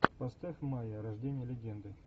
поставь майя рождение легенды